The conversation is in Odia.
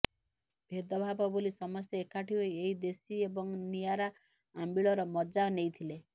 ଭେଦଭାବ ଭୁଲି ସମସ୍ତେ ଏକାଠି ହୋଇ ଏହି ଦେଶୀ ଏବଂ ନିଆରା ଆମ୍ବିଳର ମଜା ନେଇଥିଲେ